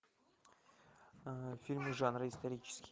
фильмы жанра исторический